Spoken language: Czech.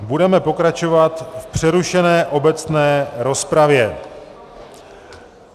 Budeme pokračovat v přerušené obecné rozpravě.